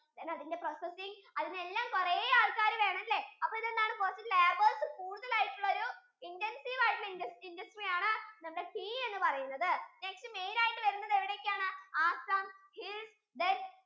then അതിന്റെ processing അതിനെല്ലാം കുറേ ആൾക്കാര് വേണല്ലേ അപ്പൊ ഇത് എന്താണ് കുറച്ചു labours കൂടുതൽ ആയിട്ടുലൊരു intensive ആയിട്ടുള്ളൊരു industry ആണ് നമ്മുടെ tea എന്ന് പറയുന്നത് next main ആയിട്ടു വരുന്നത് എവിടെ ഒക്കെ ആണ് Assam,